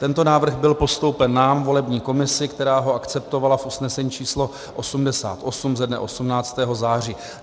Tento návrh byl postoupen nám, volební komisi, která ho akceptovala v usnesení číslo 88 ze dne 18. září.